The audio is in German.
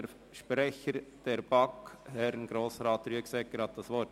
Der Sprecher der BaK, Grossrat Rüegsegger, hat das Wort.